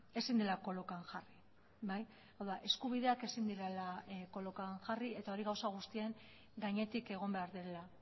ezin dela kolokan jarri bai hau da eskubideak ezin direla kolokan jarri eta hori gauza guztien gainetik egon behar dela